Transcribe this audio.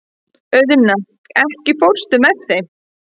Auðna, ekki fórstu með þeim?